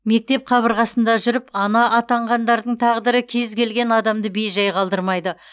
мектеп қабырғасында жүріп ана атанғандардың тағдыры кез келген адамды бей жай қалдырмайды